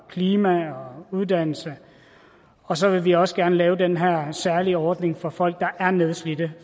og klima og uddannelse og så vil vi også gerne lave den her særlige ordning for folk der er nedslidte